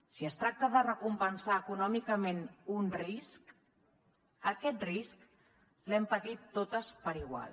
si es tracta de recompensar econòmicament un risc aquest risc l’hem patit totes igual